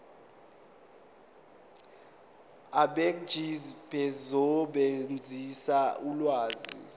abegcis bazosebenzisa ulwazi